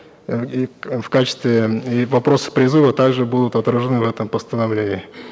э и в качестве и вопросы призыва также будут отражены в этом постановлении